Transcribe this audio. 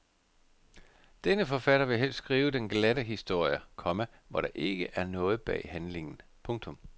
Denne forfatter vil helst skrive den glatte historie, komma hvor der ikke er noget bag handlingen. punktum